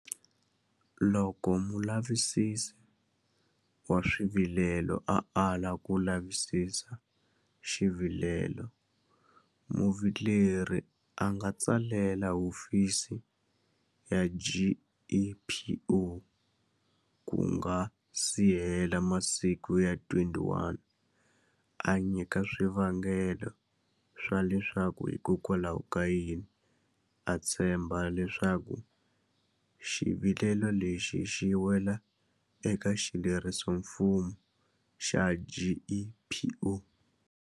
Loko Mulavisisi wa Swivilelo a ala ku lavisisa xivilelo, muvileri a nga tsalela hofisi ya GEPO ku nga si hela masiku ya 21 a nyika swivangelo swa leswaku hikwalahokayini a tshemba leswaku xivilelo lexi xi wela eka xilerisoximfumo xa GEPO.